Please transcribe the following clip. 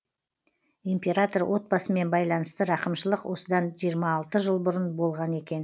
император отбасымен байланысты рақымшылық осыдан жиырма алты жыл бұрын болған екен